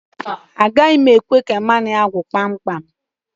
Agaghi m ekwe ka mmanụ ya gwụ kpam kpam.